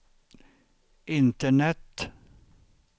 internet